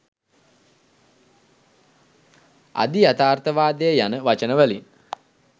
අධියථාර්ථවාදය යන වචන වලින්